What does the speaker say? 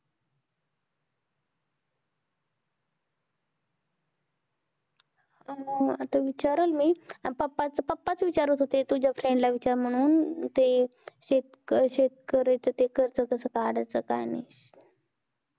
आता विचारलं मी papa च विचारात होते तुझ्या friend ला विचार म्हणून शेतकरीच ते कर्ज कस काढायचं काय नाही